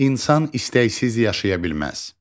İnsan istəksiz yaşaya bilməz.